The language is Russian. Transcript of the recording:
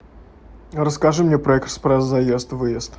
расскажи мне про экспресс заезд выезд